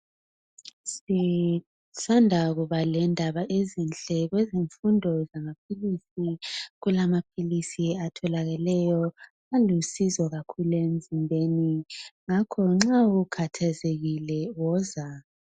Sisanda kuba lendaba ezinhle kwezemfundo zamaphilisi kulamaphilisi atholakelayo alusizo kakhulu emzimbeni ngakho nxa ukhathazekile woza.